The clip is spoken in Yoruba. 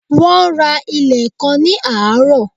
Wón ra ilẹ̀ kan ní àárọ̀